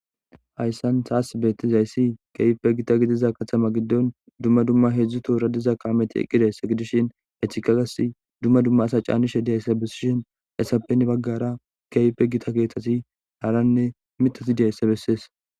ayssan saas beettizayssi keype gita gidiza katama giddon dumma dumma hedzdzu toora diza kaameti eqqideyss gidishin hetchikagas dumma dumma asa caanishe diyayssabessishin essapenn baggara keype gita geetati laaranne mitati diyayssa bessees